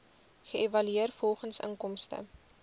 geëvalueer volgens inkomste